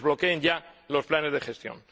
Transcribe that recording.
Desbloqueen ya los planes de gestión.